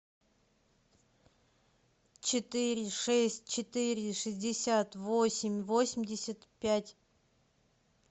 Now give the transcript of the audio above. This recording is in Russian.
четыре шесть четыре шестьдесят восемь восемьдесят пять